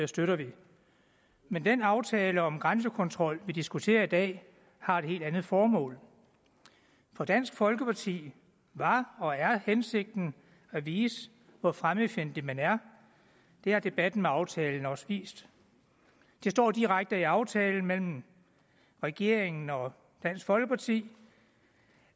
støtter vi men den aftale om grænsekontrol vi diskuterer i dag har et helt andet formål for dansk folkeparti var og er hensigten at vise hvor fremmedfjendtlig man er det har debatten om aftalen også vist det står direkte i aftalen mellem regeringen og dansk folkeparti